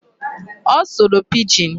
Ọ sụrụ Pidgin.